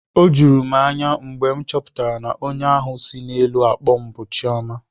O juru m anya mgbe m chọpụtara na onye ahụ si n'elu akpọ m bụ Chioma